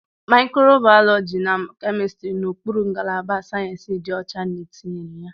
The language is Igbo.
Microbiology na Chemistry nọ n'okpuru ngalaba Sayensị dị ọcha na etinyere ya.